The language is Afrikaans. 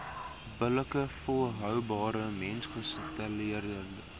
billike volhoubare mensgesentreerde